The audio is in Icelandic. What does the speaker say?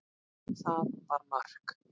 Það var mark.